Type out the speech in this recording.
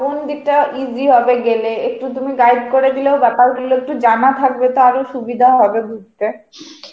কোন দিক টা easy হবে গেলে একটু তুমি guide করে দিলে ব্যাপার গুলো একটু জানা থাকবে তা আরো সুবিধা হবে ঘুরতে.